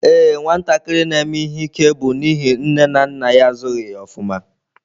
Ee nwatakịrị na-eme ihe ike bụ n'ihi nne na nna ya azụghị ya ofuma.